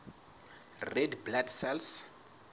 red blood cells